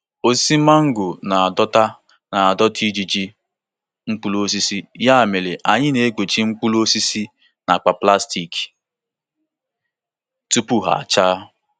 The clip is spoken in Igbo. Osisi mango na-adọta na-adọta ijiji mkpụrụ osisi, ya mere anyị na-ekpuchi mkpụrụ osisi na akpa plastik tupu ha achaa.